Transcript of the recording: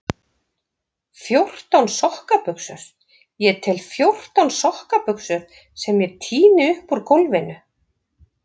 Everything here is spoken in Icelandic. Fjórtán sokkabuxur, ég tel fjórtán sokkabuxur sem ég tíni upp úr gólfinu.